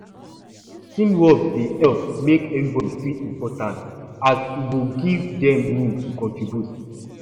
teamwork dey help make everybody feel important as e go give them room to contribute